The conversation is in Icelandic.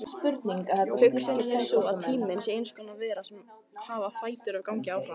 Hugsunin er sú að tíminn sé eins konar vera sem hafi fætur og gangi áfram.